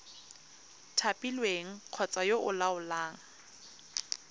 thapilweng kgotsa yo o laolang